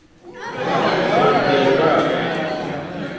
Emelíana, opnaðu dagatalið mitt.